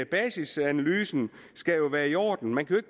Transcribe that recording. basisanalysen skal være i orden man kan